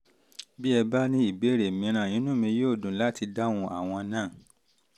bí ẹ bá ní ìbéèrè mìíràn um inú mi inú mi yóò dùn láti dáhùn àwọn náà